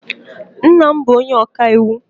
Nna m bụ onye ọka iwu.